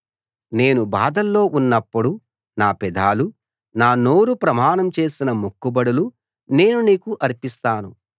నేను బాధల్లో ఉన్నప్పుడు నా పెదాలు నా నోరు ప్రమాణం చేసిన మొక్కుబడులు నేను నీకు అర్పిస్తాను